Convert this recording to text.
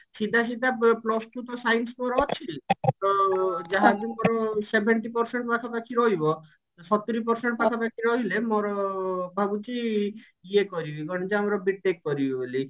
ସିଧା ସିଧା plus two ତ science ମୋର ଅଛି ତ ଯାହାବି ମୋର seventy percent ପାଖା ପାଖି ରହିବ ସତୁରି percent ପାଖା ପାଖି ରହିଲେ ମୋର ଭାବୁଛି ଇଏ କରିବି କଣ ଯେ ଆମର B.TECH କରିବି ବୋଲି